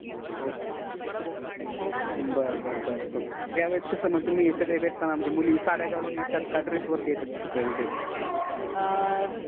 ok बर बर या वेळेस कस मग तुम्ही मुली भेटताना साडी घालून येत्त्यात का dress वर च येत्यात.